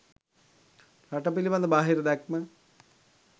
රට පිළිබඳ බාහිර දැක්ම